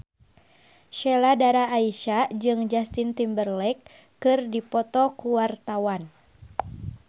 Sheila Dara Aisha jeung Justin Timberlake keur dipoto ku wartawan